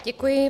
Děkuji.